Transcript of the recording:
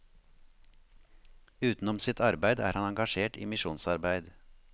Utenom sitt arbeid er han engasjert i misjonsarbeid.